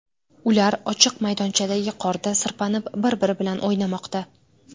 Ular ochiq maydonchadagi qorda sirpanib, bir-biri bilan o‘ynamoqda.